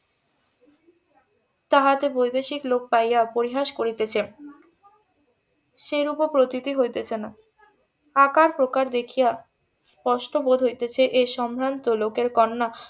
তাহাতে বৈদেশিক লোক পাইয়া পরিহাস করিতেছে সেইরূপও প্রতীতি হইতেছে না আকার প্রকার দেখিয়া কষ্ট বোধ হইতেছে এই সম্ভ্রান্ত লোকের কন্যা